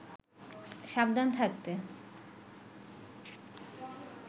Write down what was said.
সাবধান থাকতে